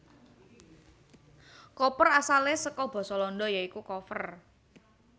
Koper asalé saka basa Landa ya iku koffer